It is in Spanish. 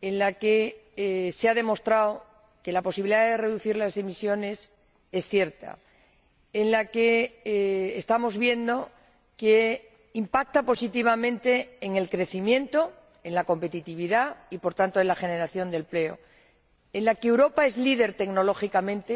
en la que se ha demostrado que la posibilidad de reducir las emisiones es cierta estamos viendo que impacta positivamente en el crecimiento, en la competitividad y, por tanto, en la generación de empleo y en la que Europa es líder tecnológicamente